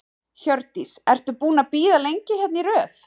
Hjördís: Og ertu búin að bíða lengi hérna í röð?